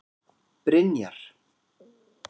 Brynjar